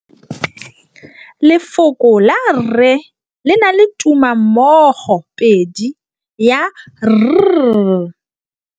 Lefoko la rre, le na le tumammogôpedi ya, r.